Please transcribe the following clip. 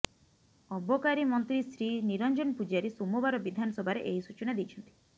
ଅବକାରୀ ମନ୍ତ୍ରୀ ଶ୍ରୀ ନିରଞ୍ଜନ ପୂଜାରୀ ସୋମବାର ବିଧାନସଭାରେ ଏହି ସୂଚନା ଦେଇଛନ୍ତି